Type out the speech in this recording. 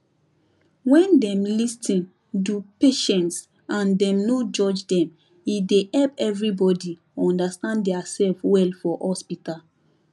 wen dem lis ten do patients and dem no judge dem e dey help everybody understand dia sef well for hospital